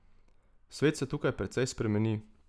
Svet se tukaj precej spremeni.